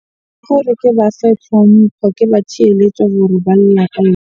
Ke gore ke ba fe tlhompho, ke ba theeletse gore ba .